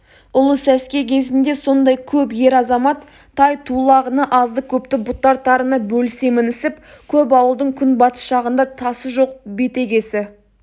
ұлы сәске кезінде сондай көп ер-азамат тай-тулағына азды-көпті бұтартарына бөлісе мінісіп көп ауылдың күнбатыс жағында тасы жоқ бетегесі